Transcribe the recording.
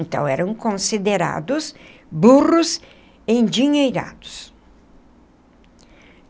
Então, eram considerados burros endinheirados.